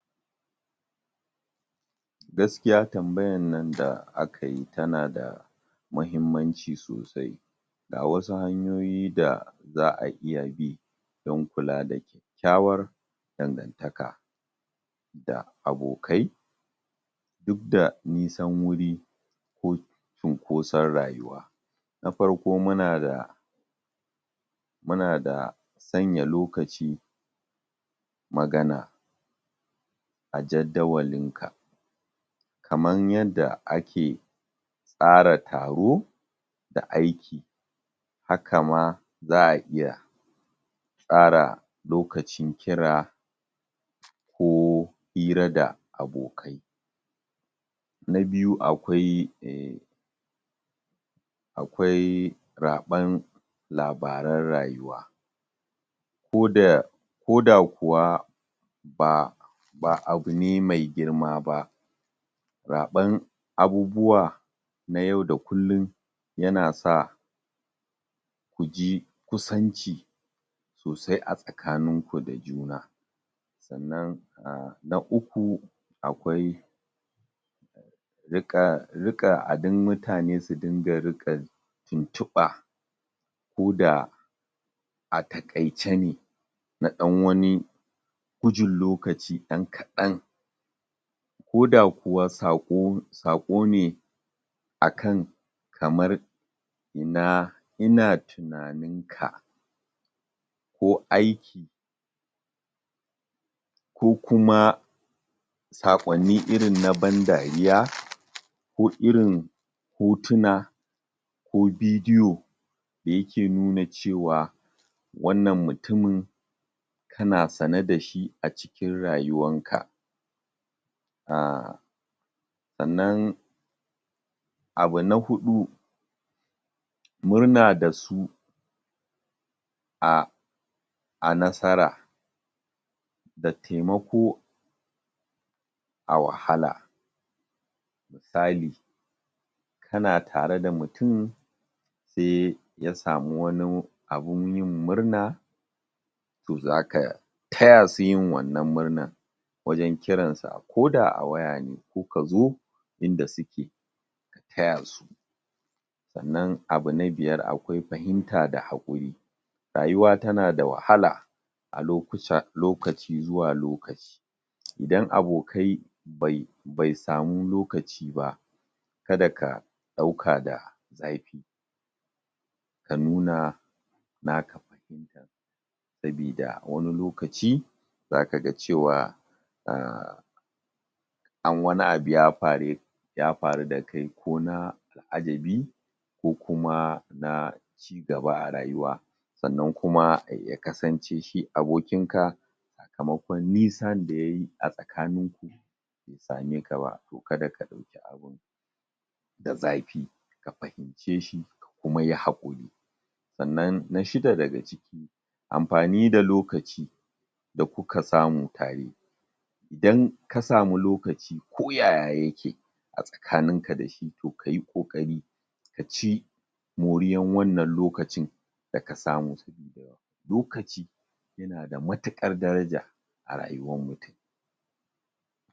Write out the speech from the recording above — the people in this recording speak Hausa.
gaskiya tambayan nan da aka yi tana da mahimmanci sosai ga wasu hanyoyi da za'a iya bi don kula da kyakkyawar dangantaka da abokai duk da nisan wuri ko cunkoson rayuwa na farko muna da muna da sanya lokaci magana a jadawalinka kaman yanda ake tsara taro da aiki haka ma za'a iya tsara lokacin kira ko hira da abokai na biyu akwai um akwai raɓan labaran rayuwa ko da ko da kuwa ba ba abu ne mai girma ba zaɓan abubuwa na yau da kullum yana sa kuji kusanci sosai a tsakaninku da juna sannan um na uku akwai riƙa riƙa adin mutane su dinga riƙa tuntuɓa ko da a takaice ne na ɗan wani gujin lokaci ɗan kaɗan ko da kuwa sako sako ne ak an kamar ina ina tunaninka ko aiki ko kuma saƙwanni irin na ban dariya ko irin hotuna ko bidiyo da yake nuna cewa wannan mutumin kana sane dashi a cikin rayuwanka um sa'anan abu na huɗu murna dasu um a nasara da taimako a wahala misali kana tare da mutum se ya samu wani abun yin murna to zaka taya su yin wannan murna wajan kiransa ko da a waya ne ku kazo inda suke ka taya su sa'anan abu na biyar akwai fahimta da haƙuri rayuwa tana da wahala a lokuca a lokaci zuwa lokaci idan abokai bai bai samu lokaci ba kada ka ɗauka da zafi ka nuna naka sabida wani lokaci zaka ga cewa um an wani abu ya fare ya faru da kai ko na [al'ajabi ko kuma na cigaba a rayuwa sa'anan kuma ya kasance shi abokinka sakamakon nisan da yayi a tsakaninku be same ka ba to kada ka ɗauki abun da zafi ka fahince shi kuma yi haƙuri sa'anan na shida daga ciki amfani da lokaci da kuka samu tare idan ka samu lokaci ko yaya yake a tsakaninka da shi to kayi ƙoƙari ka ci moriyan wannan lokacin da ka samu lokaci yana da matukar daraja a rayuwan mutum